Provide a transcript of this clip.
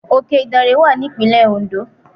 Òke ìdànrè wà ní ìpínlè Òǹdó